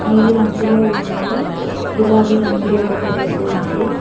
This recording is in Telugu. నీలి రంగులో ఉన్నది గులాబీ రంగులో ఒక డ్రెస్ ఉన్నది.